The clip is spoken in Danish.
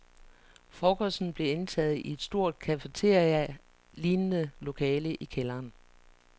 Frokosten blev indtaget i et stort cafeterialignende lokale i kælderen.